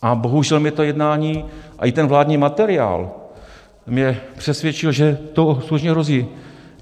A bohužel mě to jednání a i ten vládní materiál mě přesvědčil, že to skutečně hrozí.